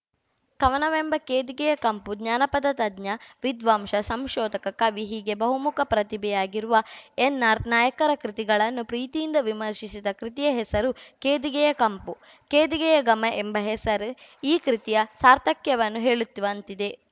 ಕವನವೆಂಬ ಕೇದಿಗೆಯ ಕಂಪು ಜಾನಪದ ತಜ್ಞ ವಿದ್ವಾಂಸ ಸಂಶೋಧಕ ಕವಿ ಹೀಗೆ ಬಹುಮುಖ ಪ್ರತಿಭೆಯಾಗಿರುವ ಎನ್‌ ಆರ್‌ ನಾಯಕರ ಕೃತಿಗಳನ್ನು ಪ್ರೀತಿಯಿಂದ ವಿಮರ್ಶಿಸಿದ ಕೃತಿಯ ಹೆಸರು ಕೇದಿಗೆಯ ಕಂಪು ಕೇದಿಗೆಯ ಘಮ ಎಂಬ ಹೆಸರೇ ಈ ಕೃತಿಯ ಸಾರ್ಥಕ್ಯವನ್ನು ಹೇಳುತ್ ವಂತಿದೆ